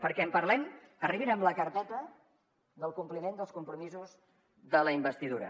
perquè en parlem arribin amb la carpeta del compliment dels compromisos de la investidura